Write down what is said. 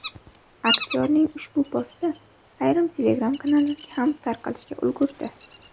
Aktyorning ushbu posti ayrim Telegram kanallarga ham tarqalishga ulgurdi.